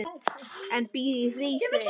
en býr í Hrísey.